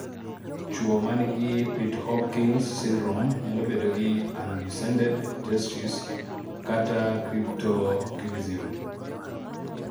chuo manigi pitt-hopkins syndrome nyalo bedo gi undescended testes(cryptorchidism)